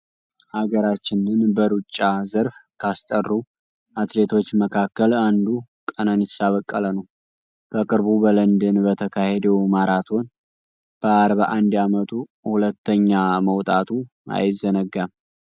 ሃገራችንን በሩጫ ዘርፍ ካስጠሩ አትሌቶች መካከል አንዱ ቀነኒሳ በቀለ ነው። በቅርቡ በለንደን በተካሄደው ማራቶን በ 41 አመቱ ሁለተኛ መውጣቱ አይዘነጋም።